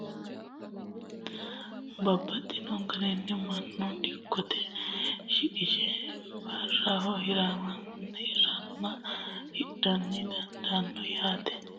Firafirete woyi laallotte duuno, tinino baattotte aanna kaa'nseenna laalitanotta ikkitanna babaxino garini manu dikkote shiqishe biraho hiranonna hidha dandanno, yaate